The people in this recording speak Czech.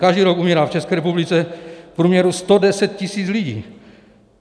Každý rok umírá v České republice v průměru 110 tisíc lidí.